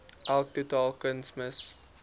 elk totale kunsmis